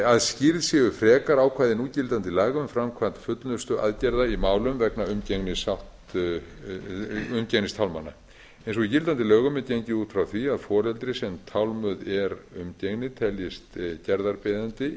að skýrð séu frekar ákvæði núgildandi laga um framkvæmd fullnustuaðgerða í málum vegna umgengnistálmana eins og í gildandi lögum er gengið út frá því að foreldri sem tálmuð er umgengni teljist gerðarbeiðandi